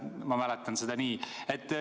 Ma mäletan seda nii.